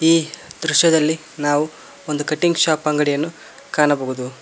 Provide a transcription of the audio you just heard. ಈ ದೃಶ್ಯದಲ್ಲಿ ನಾವು ಒಂದು ಕಟ್ಟಿಂಗ್ ಶಾಪ್ ಅಂಗಡಿಯನ್ನು ಕಾಣಬಹುದು.